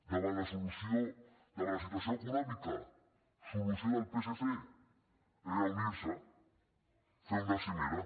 davant la situació econòmica solució del psc reunir se fer una cimera